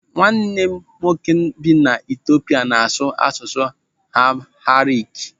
Nwanne m nwoke nke bi n'Etiopia n'asụ asụsụ Amharic.